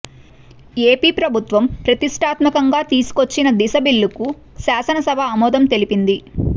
AP ప్రభుత్వం ప్రతిష్ఠాత్మకంగా తీసుకొచ్చిన దిశ బిల్లుకు శాసన సభ ఆమోదం తెలిపింది